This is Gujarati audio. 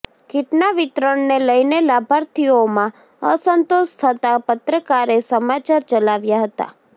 કીટના વિતરણને લઈને લાભાર્થીઓમાં અસંતોષ થતા પત્રકારે સમાચાર ચલાવ્યા હતા